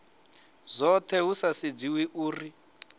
dzothe hu sa sedziwi uri